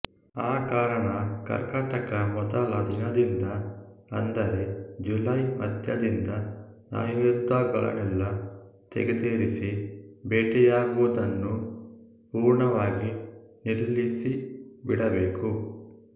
ಆ ಕಾರಣ ಕರ್ಕಾಟಕ ಮೊದಲ ದಿನದಿಂದ ಅಂದರೆ ಜುಲೈ ಮಧ್ಯದಿಂದ ಆಯುಧಗಳನ್ನೆಲ್ಲಾ ತೆಗೆದಿರಿಸಿ ಬೇಟೆಯಾಡುವದನ್ನು ಪೂರ್ಣವಾಗಿ ನಿಲ್ಲಿಸಿಬಿಡಬೇಕು